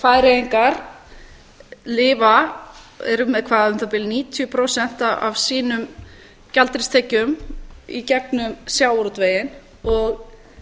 færeyingar lifa eru með um það bil níutíu prósent af sínum gjaldeyristekjum í gegnum sjávarútveginn og